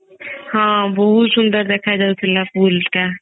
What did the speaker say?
ହଁ ବହୁତ ସୁନ୍ଦର ଦେଖା ଯାଉଥିଲା pool ଟା